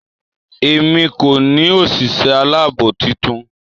Èmi kò ní òsìsé aláàbò titun